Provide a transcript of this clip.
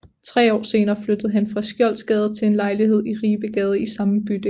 Tre år senere flyttede han fra Skjoldsgade til en lejlighed i Ribegade i samme bydel